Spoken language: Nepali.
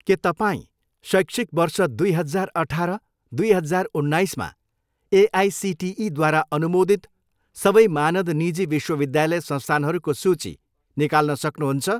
के तपाईँँ शैक्षिक वर्ष दुई हजार अठार, दुई हजार उन्नाइसमा एआइसिटिईद्वारा अनुमोदित सबै मानद निजी विश्वविद्यालय संस्थानहरूको सूची निकाल्न सक्नुहुन्छ?